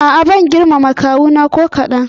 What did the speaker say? A'a bana girmama kawuna ko kaɗan.